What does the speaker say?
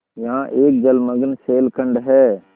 यहाँ एक जलमग्न शैलखंड है